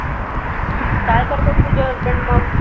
काय करतात तुझे husband मग?